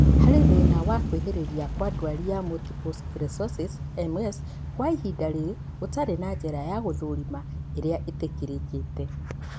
Harĩ thĩna wa kwĩhĩrĩria kwa ndwari ya multiple sclerosis (MS), kwa ihinda rĩrĩ gũtirĩ na njĩra ya kũũthũrima ĩrĩa ĩtĩkĩrĩkĩte